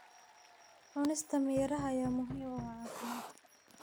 Cunista miraha ayaa muhiim u ah caafimaadka.